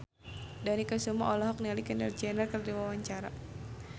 Dony Kesuma olohok ningali Kendall Jenner keur diwawancara